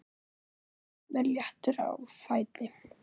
Alltaf jafn léttur á fæti.